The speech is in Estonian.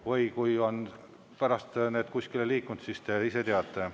Või kui on need pärast kuskile liikunud, siis te ise teate.